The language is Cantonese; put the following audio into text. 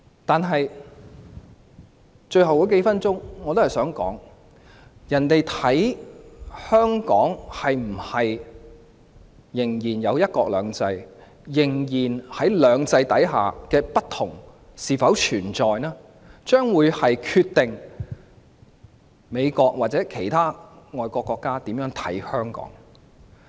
在最後數分鐘，我也想說，香港是否仍然享有"一國兩制"，在"兩制"下的差異是否仍然存在，將會決定美國及其他外國國家如何看待香港。